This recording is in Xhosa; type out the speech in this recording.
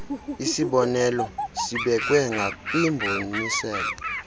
isibonelo sibekwe ngakwimboniselo